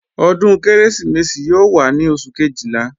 Ọdún Kérésìmesì yóò wá ní Oṣù Kejìlá